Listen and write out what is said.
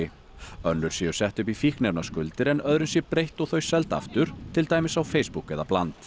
önnur séu sett upp í fíkniefnaskuldir en öðrum sé breytt og þau seld aftur til dæmis á Facebook eða Bland